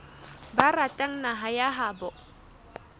ba ratang naha ya habo